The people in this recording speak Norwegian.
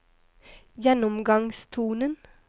gjennomgangstonen